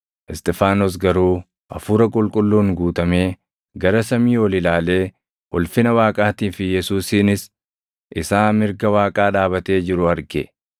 Isxifaanos garuu Hafuura Qulqulluun guutamee gara samii ol ilaalee ulfina Waaqaatii fi Yesuusinis isaa mirga Waaqaa dhaabatee jiru arge.